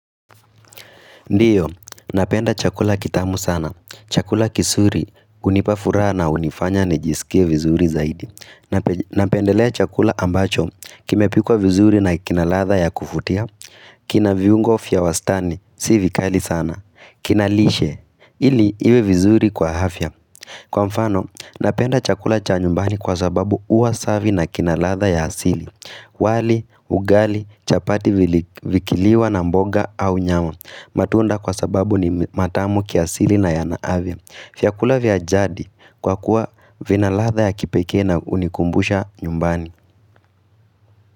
Ndiyo, napenda chakula kitamu sana. Chakula kisuri, unipafuraha na unifanya nijisikie vizuri zaidi. Napendelea chakula ambacho, kime pikwa vizuri na kinaladha ya kuvutia, kina viungo fia wastani, si vikali sana, kina lishe, ili iwe vizuri kwa hafya. Kwa mfano, napenda chakula cha nyumbani kwa sababu uwasavi na kinaladha ya asili wali, ugali, chapati vikiliwa na mboga au nyama matunda kwa sababu ni matamu kiasili na yana avya Fiakula vya jadi kwa kuwa vina ladha ya kipekee na unikumbusha nyumbani.